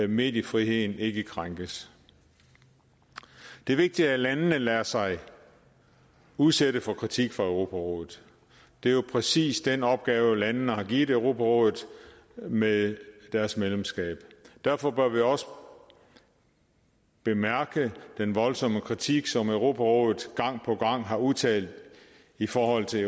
mediefriheden ikke krænkes det er vigtigt at landene lader sig udsætte for kritik fra europarådet det er jo præcis den opgave landene har givet europarådet med deres medlemskab derfor bør vi også bemærke den voldsomme kritik som europarådet gang på gang har udtalt i forhold til